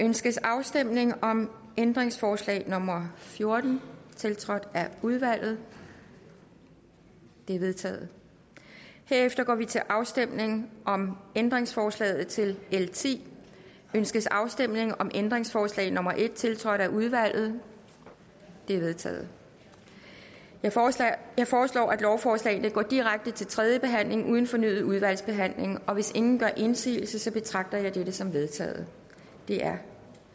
ønskes afstemning om ændringsforslag nummer fjorten tiltrådt af udvalget det er vedtaget herefter går vi til afstemning om ændringsforslag til l tiende ønskes afstemning om ændringsforslag nummer en tiltrådt af udvalget det er vedtaget jeg foreslår jeg foreslår at lovforslagene går direkte til tredje behandling uden fornyet udvalgsbehandling og hvis ingen gør indsigelse betragter jeg dette som vedtaget det er